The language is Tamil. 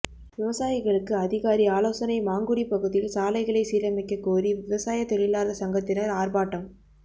விவசாயிகளுக்கு அதிகாரி ஆலோசனை மாங்குடி பகுதியில் சாலைகளை சீரமைக்க கோரி விவசாய தொழிலாளர் சங்கத்தினர் ஆர்ப்பாட்டம்